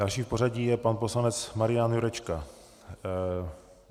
Další v pořadí je pan poslanec Marian Jurečka.